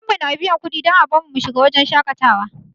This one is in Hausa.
Babanmu na biyan kuɗi don a bar mu mu shiga wurin shaƙatawa.